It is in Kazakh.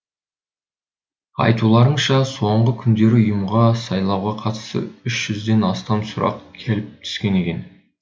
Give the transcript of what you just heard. айтуларынша соңғы күндері ұйымға сайлауға қатысты үш жүзден астам сұрақ келіп түскен екен